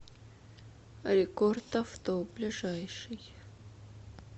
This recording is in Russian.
рекорд авто ближайший